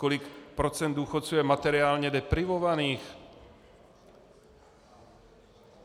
Kolik procent důchodců je materiálně deprivovaných?